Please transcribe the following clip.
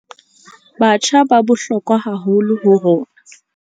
Batjha ba bohlokwa haholo ho rona.